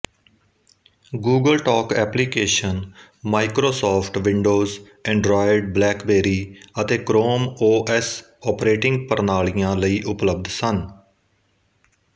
Google Talk application Microsoft Windows Android BlackBerry ਅਤੇ Chrome OS operating ਪ੍ਰਣਾਲੀਆਂ ਲਈ ਉਪਲਬਧ ਸਨ